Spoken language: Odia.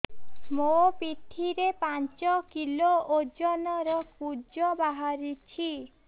ମୋ ପିଠି ରେ ପାଞ୍ଚ କିଲୋ ଓଜନ ର କୁଜ ବାହାରିଛି